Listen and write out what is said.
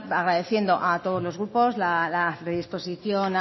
agradeciendo a todos los grupos la predisposición